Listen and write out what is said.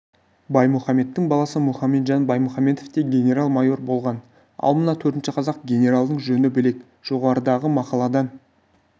баймұхамедтің баласы мұхамеджан баймұханбетов те генерал-майор болған ал мына төртінші қазақ генералының жөні бөлек жоғарыдағы мақаладан